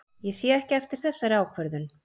Ég sé ekki eftir þessari ákvörðun.